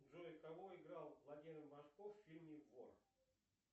джой кого играл владимир машков в фильме вор